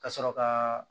Ka sɔrɔ ka